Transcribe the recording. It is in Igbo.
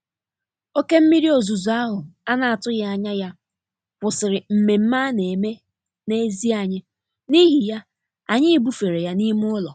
Oké mmiri ozuzo ahụ a na-atụghị anya ya kwụsịrị nmenme a na-eme n'èzí anyị, n'ihi ya, anyị bufere ya n'ime ụlọ.